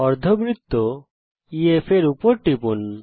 অর্ধবৃত্ত EF এর উপর টিপুন